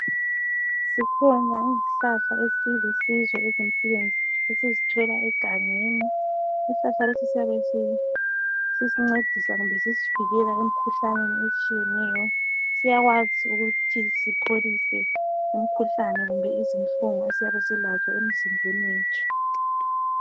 Zikhona izihlahla ezilusizo empilweni zethu esizithola egangeni. Isihlahla lesi siyabe sisincedisa loba sisivikela emkhuhlaneni etshiyeneyo, siyakwazi ukuthi sipholise umkhuhlane kumbe izinhlungu esiyabe silazo emzimbeni yethu.